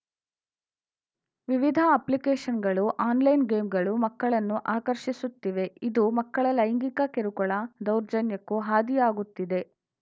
ವಿವಿಧದ ಅಪ್ಲಿಕೇಶನ್‌ಗಳು ಆನ್‌ಲೈನ್‌ ಗೇಮ್‌ಗಳು ಮಕ್ಕಳನ್ನು ಆಕರ್ಷಿಸುತ್ತಿವೆ ಇದು ಮಕ್ಕಳ ಲೈಂಗಿಕ ಕಿರುಕುಳ ದೌರ್ಜನ್ಯಕ್ಕೂ ಹಾದಿಯಾಗುತ್ತಿದೆ